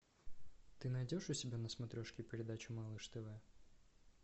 ты найдешь у себя на смотрешке передачу малыш тв